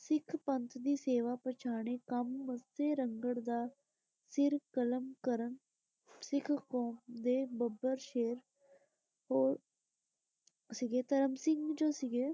ਸਿੱਖ ਪੰਥ ਦੀ ਸੇਵਾ ਪਛਾਣੇ ਕੰਮ ਮੱਸੇ ਰੰਗੜ ਦਾ ਸਿਰ ਕਲਮ ਕਰਨ ਸਿੱਖ ਕੌਮ ਦੇ ਬੱਬਰ ਸ਼ੇਰ ਤੇ ਸੀਗੇ। ਧਰਮ ਸਿੰਘ ਜੋ ਸੀਗੇ।